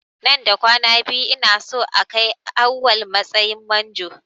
Nan da kwana biyu ina son a kai Awwal matsayin manjo.